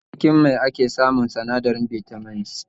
Daga cikin mai ake samun sinadarin Bitamin C